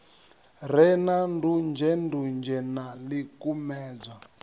re na ndunzhendunzhe na ḽikumedzwa